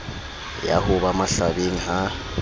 ya ho ba mahlabeng ha